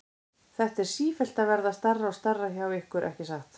Þetta er sífellt að verða stærra og stærra hjá ykkur, ekki satt?